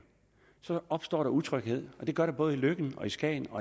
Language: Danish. så opstår der utryghed det gør der både i løkken skagen og